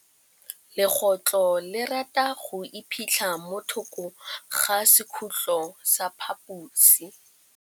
Legôtlô le rata go iphitlha mo thokô ga sekhutlo sa phaposi.